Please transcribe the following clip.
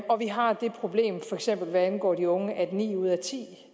har det problem for eksempel hvad angår de unge at ni ud af ti